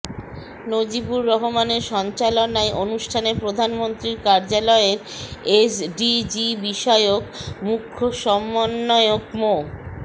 নজিবুর রহমানের সঞ্চালনায় অনুষ্ঠানে প্রধানমন্ত্রীর কার্যালয়ের এসডিজিবিষয়ক মুখ্য সমন্বয়ক মো